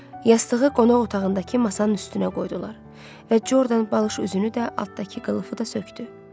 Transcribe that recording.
Yastığı qonaq otağındakı masanın üstünə qoydular və Jordan balış üzünü də, altındakı qılıfı da sökdü.